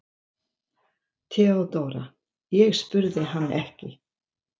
THEODÓRA: Ég spurði hann ekki.